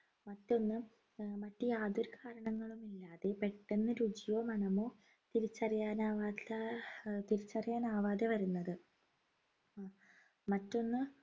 മറ്റൊന്ന് ആഹ് മറ്റ് യാതൊരു കാരണങ്ങളും ഇല്ലാതെ പെട്ടെന്ന് രുചിയോ മണമോ തിരിച്ചറിയാനാവാത്ത തിരിച്ചറിയാനാവാതെ വരുന്നത് മറ്റൊന്ന്